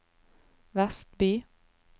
Vestby